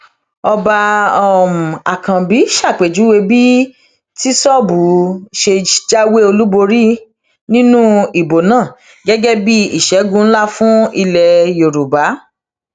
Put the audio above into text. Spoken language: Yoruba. ọba um àkànbí ṣàpèjúwe bí tìṣóbù ṣe jáwé olúborí um nínú ìbò náà gẹgẹ bíi ìṣègùn ńlá fún ilẹ yorùbá